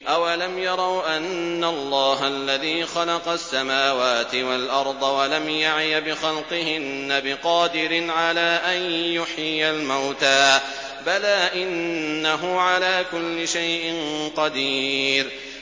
أَوَلَمْ يَرَوْا أَنَّ اللَّهَ الَّذِي خَلَقَ السَّمَاوَاتِ وَالْأَرْضَ وَلَمْ يَعْيَ بِخَلْقِهِنَّ بِقَادِرٍ عَلَىٰ أَن يُحْيِيَ الْمَوْتَىٰ ۚ بَلَىٰ إِنَّهُ عَلَىٰ كُلِّ شَيْءٍ قَدِيرٌ